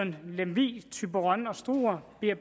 lemvig thyborøn og struer bliver